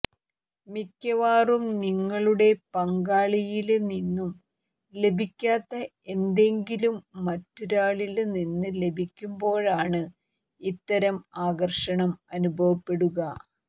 മിക്കവാറും നിങ്ങളുടെ പങ്കാളിയില് നിന്നു ലഭിക്കാത്ത എന്തെങ്കിലും മറ്റൊരാളില് നിന്ന ലഭിക്കുമ്പോഴാണ് ഇത്തരം ആകര്ഷണം അനുഭവപ്പെടുക